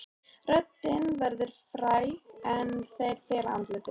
Röddin verður fræg en þeir fela andlitið.